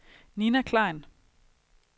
Nina Klein